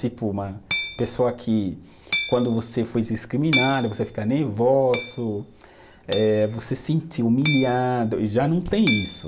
Tipo, uma pessoa que quando você foi discriminado, você fica nervoso, eh você sente humilhado, já não tem isso.